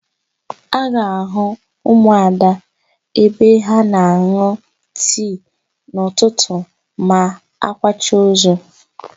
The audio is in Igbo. A ga-àhụ́ ụmụada ebe ha na-an̄ụ tii n'ụtụtụ ma a kwacha ozu.